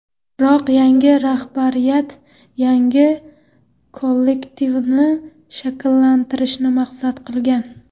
Biroq yangi rahbariyat yangi kollektivni shakllantirishni maqsad qilgan.